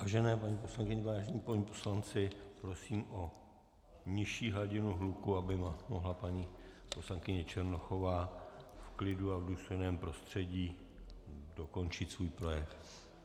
Vážené paní poslankyně, vážení páni poslanci, prosím o nižší hladinu hluku, aby mohla paní poslankyně Černochová v klidu a v důstojném prostředí dokončit svůj projev.